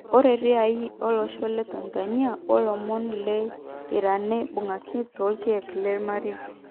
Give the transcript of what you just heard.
Ore ria ware lolosho le Tanzania wo tomon le Iranebungaki tokiek lemerai.